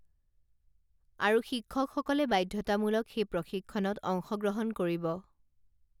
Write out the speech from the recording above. আৰু শিক্ষকসকলে বাধ্যতামূলক সেই প্ৰশিক্ষণত অংশগ্ৰহণ কৰিব